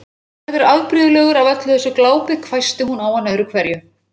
Þú verður afbrigðilegur af öllu þessu glápi hvæsti hún á hann öðru hverju.